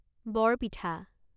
বৰ পিঠা